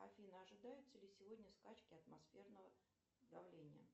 афина ожидаются ли сегодня скачки атмосферного давления